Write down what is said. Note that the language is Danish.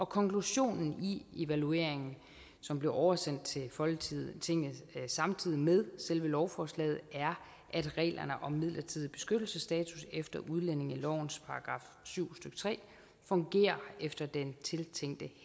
konklusionen i evalueringen som blev oversendt til folketinget samtidig med selve lovforslaget er at reglerne om midlertidig beskyttelsesstatus efter udlændingelovens § syv stykke tre fungerer efter den tiltænkte